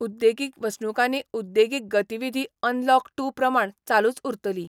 उद्देगीक वसणुकांनी उद्देगीक गती विधी अनलॉक टू प्रमाण चालूच उरतली.